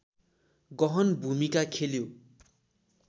गहन भूमिका खेल्यो